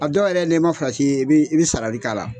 A dɔw yɛrɛ ni ma farati i bi sarali k'ala